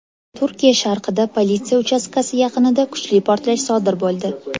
Turkiya sharqida politsiya uchastkasi yaqinida kuchli portlash sodir bo‘ldi.